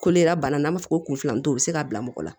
Kolo yɛrɛ bana n'an b'a fɔ ko kun filanin to o be se k'a bila mɔgɔ la